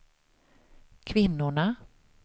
kvinnorna